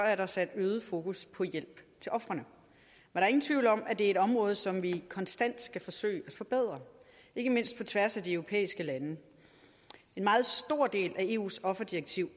er der sat øget fokus på hjælp til ofrene der er ingen tvivl om at det er et område som vi konstant skal forsøge at forbedre ikke mindst på tværs af de europæiske lande en meget stor del af eus offerdirektiv